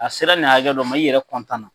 A sera nin hakɛ dɔ ma, i yɛrɛ na,